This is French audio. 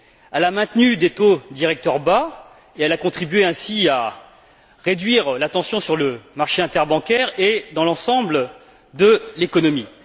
Elle a maintenu des taux directeurs bas et elle a contribué ainsi à réduire la tension sur le marché interbancaire et dans l'ensemble de l'économie.